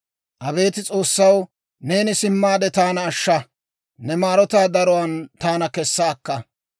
Abeet S'oossaw, neeni simmaade, taana ashsha; ne maarotaa daruwaan taana kessa akka.